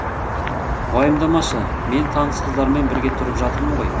уайымдамашы мен таныс қыздармен бірге тұрып жатырмын ғой